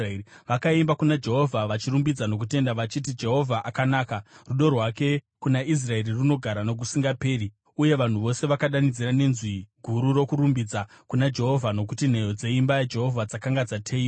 Vakaimba kuna Jehovha vachirumbidza nokutenda, vachiti: “Jehovha akanaka; rudo rwake kuna Israeri runogara nokusingaperi.” Uye vanhu vose vakadanidzira nenzwi guru rokurumbidza kuna Jehovha, nokuti nheyo dzeimba yaJehovha dzakanga dzateyiwa.